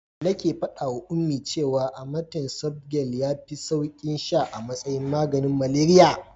Nake faɗawa Ummi cewa amatem softgel yafi saukin sha a matsayin maganin malaria.